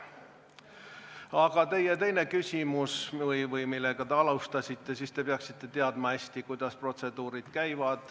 Aga teie teise küsimuse kohta, millega te alustasite, ütlen, et te peaksite hästi teadma, kuidas protseduur käib.